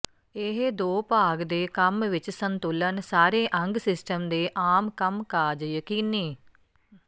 ਇਹ ਦੋ ਭਾਗ ਦੇ ਕੰਮ ਵਿਚ ਸੰਤੁਲਨ ਸਾਰੇ ਅੰਗ ਸਿਸਟਮ ਦੇ ਆਮ ਕੰਮਕਾਜ ਯਕੀਨੀ